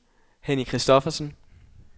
Henny Kristoffersen